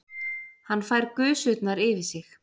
Hann fær gusurnar yfir sig.